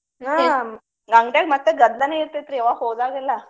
ಹ್ಮ ಅಂಗಡ್ಯಾಗ ಮತ್ತೆ ಗದ್ಲಾನೆ ಇರ್ತೆತ್ರಿ ಯಾವಾಗ ಹೋದಾಗೆಲ್ಲಾ.